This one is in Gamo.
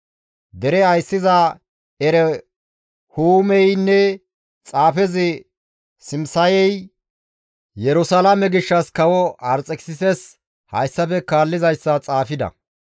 Dere ayssiza Erehuumeynne xaafezi Simisayey Yerusalaame gishshas kawo Arxekisises hayssafe kaallizayssa xaafida.